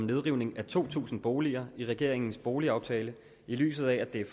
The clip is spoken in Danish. nedrivning af to tusind boliger i regeringens boligaftale i lyset af at det er